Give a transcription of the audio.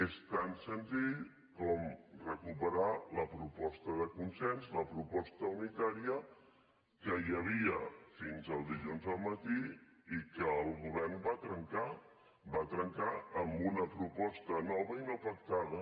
és tan senzill com recuperar la proposta de consens la proposta unitària que hi havia fins el dilluns al matí i que el govern va trencar va trencar amb una proposta nova i no pactada